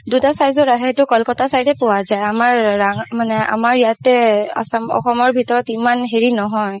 দুটা size ৰ আহে সেইটো কলকাতাৰ side পোৱা যাই আমাৰ মানে আমাৰ ইয়াতে অসমৰ ভিতৰত ইমান হেৰি নহয়